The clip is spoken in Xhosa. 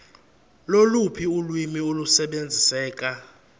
loluphi ulwimi olusebenziseka